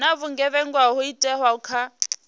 na vhugevhenga ho itwaho kha